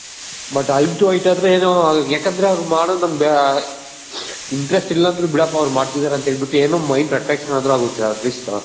but Eye to Eye to ಅಂದ್ರೆ ಏನೋ ಯಾಕಂದ್ರೆ ಅವ್ರ್ಗ್ ಮಾಡೋ ಒಂದ್ interest ಇಲ್ಲ ಅಂದ್ರು ಬಿಡಪ್ಪ ಅವರ್ ಮಾಡ್ತಿದಾರೆ ಏನೋ mind ಮಾಡಿದ್ರು ಆಗುತ್ತೆ